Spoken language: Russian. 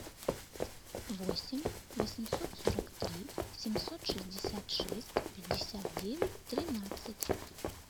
восемь восемьсот сорок три семьсот шестьдесят шесть пятьдесят девять тринадцать